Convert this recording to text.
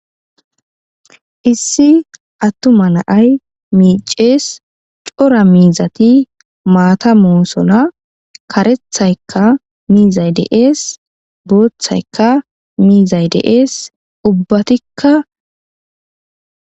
Issi attuma naay miicees cora miizati maata moosona karethaykka miizaydeees booththaykka miizay deees ubbatikka.